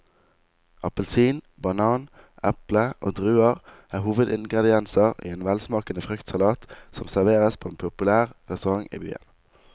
Appelsin, banan, eple og druer er hovedingredienser i en velsmakende fruktsalat som serveres på en populær restaurant i byen.